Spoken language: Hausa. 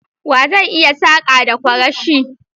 Wa zai iya saka da kwarashi?